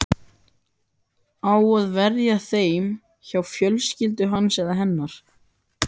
Á að verja þeim hjá fjölskyldu hans eða hennar?